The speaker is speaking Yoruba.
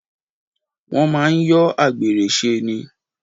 Wọ́n máa ń yọ àgbèrè ṣe ni.